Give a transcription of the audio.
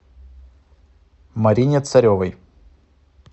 марине царевой